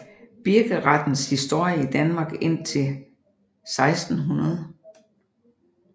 Birkerettens historie i Danmark indtil 1600